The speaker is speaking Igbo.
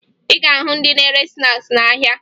Ị ga-ahụ ndị na-ere snaakị n'ahịa